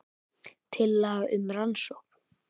Tillaga um rannsókn